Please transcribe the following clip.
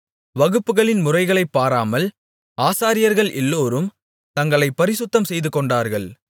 வகுப்புகளின் முறைகளைப் பாராமல் ஆசாரியர்கள் எல்லோரும் தங்களைப் பரிசுத்தம் செய்துகொண்டார்கள்